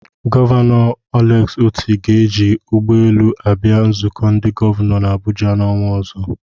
Gọvanọ Alex Otti ga-eji ụgbọelu abịa nzukọ ndị gọvanọ n'Abuja n'ọnwa ọzọ.